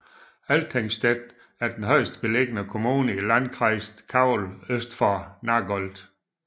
Althengstett er den højest beliggende kommune i Landkreis Calw øst for Nagold